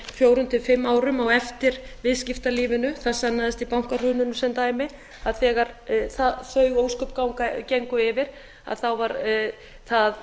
fjórir til fimm árum á eftir viðskiptalífinu þar sem í bankahruninu sem dæmi þegar þau ósköp gengu yfir var það